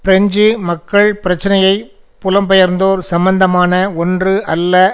French மக்கள் பிரச்சினையை புலம்பெயர்ந்தோர் சம்பந்தமான ஒன்று அல்ல